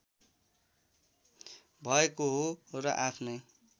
भएको हो र आफ्नै